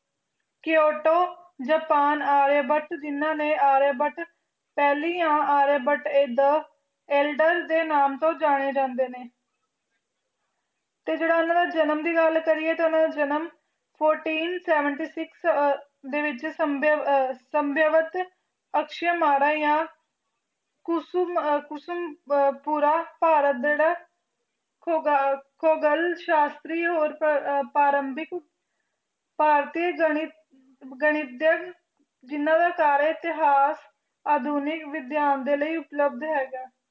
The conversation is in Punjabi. ਭਾਰਤੀ ਗਾਨਿਥ ਗਾਨਿਥ ਦੇ ਇਤਿਹਾਸ ਦੇ ਲਈ ਉਪਯਲੋਅਗ ਹੈਗੀ